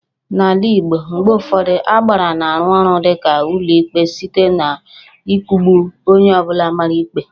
N'ala Igbo, mgbe ụfọdụ Agbara na-arụ ọrụ dịka ụlọikpe site n'ịkụgbu onye ọ bụla mara ikpe